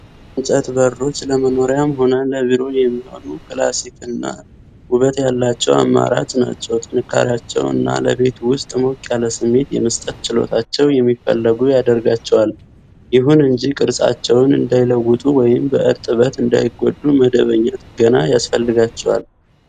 የእንጨት በሮች ለመኖሪያም ሆነ ለቢሮ የሚሆኑ ክላሲክና ውበት ያላቸው አማራጭ ናቸው። ጥንካሬያቸው እና ለቤት ውስጥ ሞቅ ያለ ስሜት የመስጠት ችሎታቸው የሚፈለጉ ያደርጋቸዋል። ይሁን እንጂ፣ ቅርጻቸውን እንዳይለወጡ ወይም በእርጥበት እንዳይጎዱ መደበኛ ጥገና ያስፈልጋቸዋል።